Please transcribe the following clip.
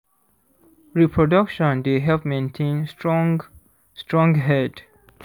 reproduction dey help maintain strong strong herd